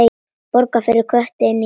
Borg fyrir Kötu inní garði.